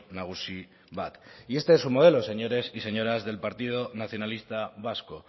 nagusi bat y este es su modelo señores y señoras del partido nacionalista vasco